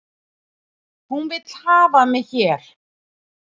Hún vill hafa mig hér